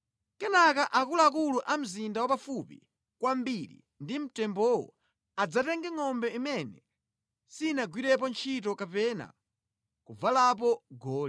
Kenaka akuluakulu a mzinda wapafupi kwambiri ndi mtembowo adzatenge ngʼombe imene sinagwirepo ntchito kapena kuvalapo goli